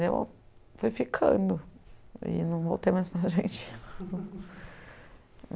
Daí eu fui ficando e não voltei mais para a Argentina.